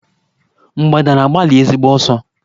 Mgbadà na-agbali ezigbo ọsọ.